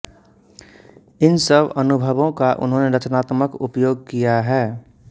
इन सब अनुभवों का उन्होंने रचनात्मक उपयोग किया है